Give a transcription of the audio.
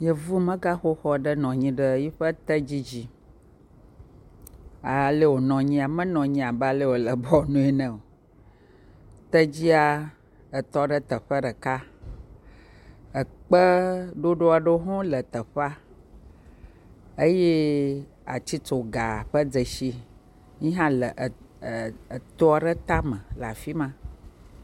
Yevumegaxoxo aɖe nɔ anyi ɖe yiƒe tedzi dzi. Alee wonɔ anyia menɔ anyi abe ale ye wole be woanɔe ne o. Tedzia etɔ ɖe teƒe ɖeka. Ekpe ɖoɖo ɖewo ho le teƒe eye atsitsoga ƒe dzesi yihã lee e eto aɖe tame le afi ma.